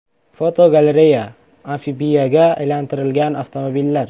Fotogalereya: Amfibiyaga aylantirilgan avtomobillar.